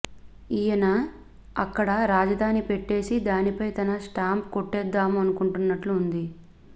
ఈయన అక్కడ రాజధాని పెట్టేసి దానిపై తన స్టాంప్ కొట్టేద్దామనుకుంటున్నట్లు వుంది